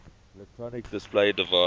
electronic display device